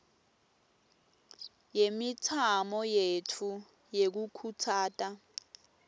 yemitamo yetfu yekukhutsata